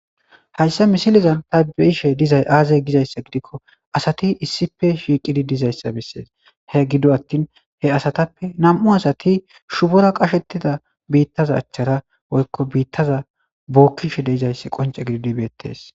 Hayssa misileza tha be7ishe dizay aazee gizayssa gidikko asathi issippe shiiqidi dizayssa bessees;he gido aththin he asappe nam7u asathi shubara qasheththida biiththaza achchara woykko biiththaza bookkishe de7izayssi qoncce gididi beeththees.